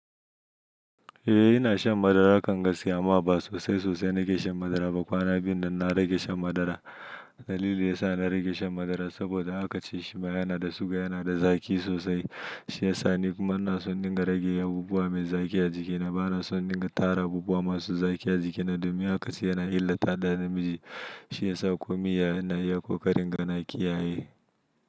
Eh ina shan madara kanga siyama ba sosai sosai nake shan madara ba kwana biyu dan na rage shan madara. Dalili ya sa na rage shan madara saboda aka ce shi ma yana da suga, yana da zaki sosai. Shi ya sa ni kuma ina son in dinga rage abubuwa mai zaki a jikina. Ba na son dinga tara abubuwa masu zaki a jikina domin haka shi yana illata ɗa namiji. Shi ya sa ko miya ina iya ko karin ga na kiyaye.